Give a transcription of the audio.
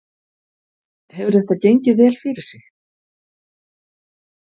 Hefur þetta gengið vel fyrir sig?